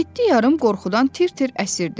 Yeddi yarım qorxudan tir-tir əsirdi.